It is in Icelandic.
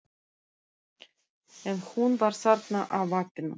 En hún var þarna á vappinu.